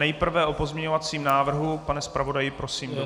Nejprve o pozměňovacím návrhu - pane zpravodaji, prosím.